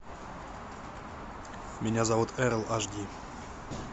меня зовут эрл аш ди